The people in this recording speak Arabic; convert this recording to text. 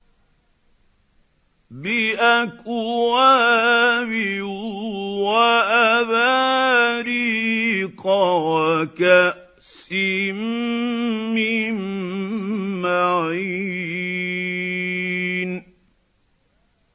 بِأَكْوَابٍ وَأَبَارِيقَ وَكَأْسٍ مِّن مَّعِينٍ